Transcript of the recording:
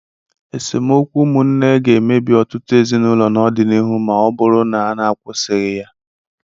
Esemokwu ụmụnne ga-emebi ọtụtụ ezinụlọ n'ọdịnihu ma ọ bụrụ na n'akwụsịghị ya.